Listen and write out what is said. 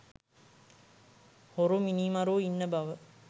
හොරු මිනීමරුවො ඉන්න බව